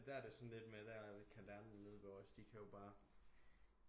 Der er det jo sådan lidt med der kan lærerne nede ved os de kan jo bare